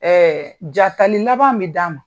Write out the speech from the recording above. jatali laban bi d'a ma